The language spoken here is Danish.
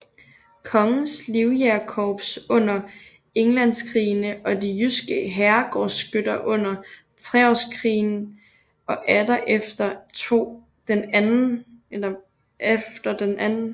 Kongens Livjægerkorps under Englandskrigene og de jyske herregårdsskytter under Treårskrigen og atter efter den 2